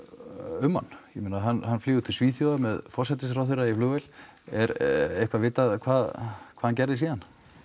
um hann ég meina hann flýgur til Svíþjóðar með forsætisráðherra í flugvél er eitthvað vitað hvað hann gerði síðan